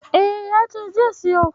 E, ya ce zai siyo.